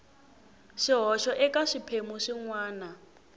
swihoxo eka swiphemu swin wana